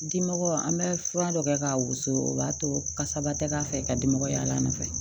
Dimɔgɔ an bɛ fura dɔ kɛ k'a wusu o b'a to kasaba tɛ k'a fɛ ka di mɔgɔ y'a nɔfɛ